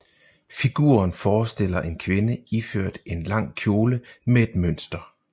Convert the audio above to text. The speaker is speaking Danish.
Figuren forestiller en kvinde iført en lang kjole med et mønster